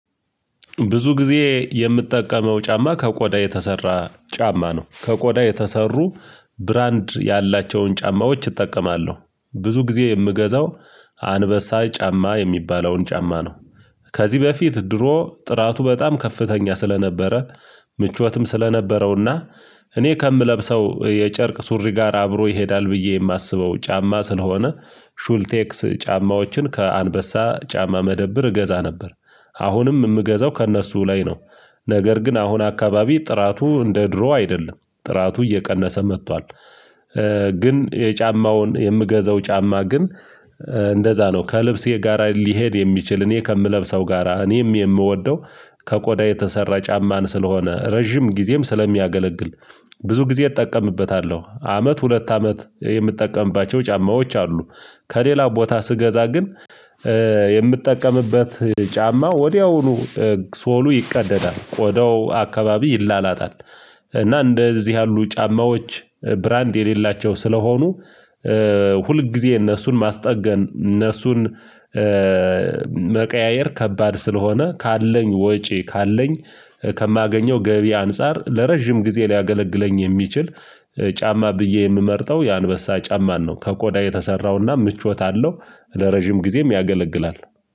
ብዙ ጊዜ የምትጠቀመው ጫማ ከቆዳ የተሰራ ጫማ ነው። ከቆዳ የተሰሩ ብራንድ ያላቸውን ጫማዎች እጠቀማለሁ ብዙ ጊዜ የምገዛው አንበሳ ጫማ የሚባለውን ጫማ ነው። ከዚህ በፊት ድሮ ጥራቱ በጣም ከፍተኛ ስለነበረ ምቾትም ስለነበረውና እኔ ከምለብሰው የጨርቅ ሱሪ ጋር አብሮ ይሄዳል ብዬ የማስበው ጫማ ስለሆነ። ሹልቴክስ ጫማዎችን ከአንበሳ ጫማ መደብር እገዛ ነበር። አሁንም የምገዘው ከእነሱ ላይ ነው። ነገር ግን አሁን አካባቢ ጥራቱ እንደ ድሮ አይደለም ጥራቱ እየቀነሰ መጥቷል። ግን የጫማውን የምገዘው ጫማ ግን እንደዛ ነው ከልብሴ ጋር ሊሄድ የሚችል እኔ ከምለብሰው ጋራ እኔም የምወደው። ከቆዳ የተሰራ ጫማን ስለሆነ ረጅም ጊዜም ስለሚያገለግል ብዙ ጊዜ እጠቀምበታለሁ አመት ሁለት አመት የምጠቀምባቸው ጫማዎች አሉ። ከሌላ ቦታ ስገዛ ግን የምትጠቀምበት ጫማ ወዲያውኑ ሶሉ ይቀደዳል ቆዳው አካባቢ ይላላጣል። እና እንደዚህ ያሉ ጫማዎች ብራንድ የሌላቸው ስለሆኑ ሁል ጊዜ እነሱን ማስጠገን እነሱን መቀያየር ከባድ ስለሆነ ካለኝ ወጪ ካለኝ ከማገኘው ገቢ አንፃር ለረጅም ጊዜ ሊያገለግለኝ የሚችል ጫማ ብዬ የምመርጠው የአንበሳ ጫማን ነው። ከቆዳ የተሰራውና ምቾት አለው ለረጅም ጊዜም ያገለግላል